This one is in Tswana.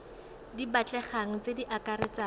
di batlegang tse di akaretsang